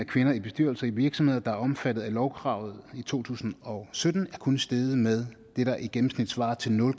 kvinder i bestyrelser i virksomheder der var omfattet af lovkravet i to tusind og sytten er kun steget med det der i gennemsnit svarer til nul